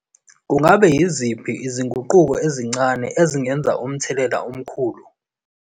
Ngabe yini izinguquko ezincane ezingenza umthelela omkhulu?